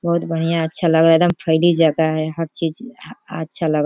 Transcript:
बहुत बढ़िया अच्छा लगा एकदम फैली जगह है हर चीज अच्छा लगा।